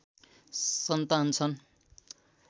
सन्तान छन्